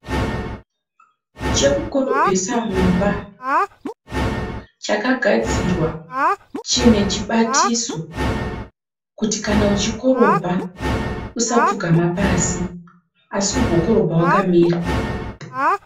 Chekukorobhesa mumba, chakagdzirwa chinechibatiso kuti kana uchikorobha usapfugama asi ugokorobha wakamira.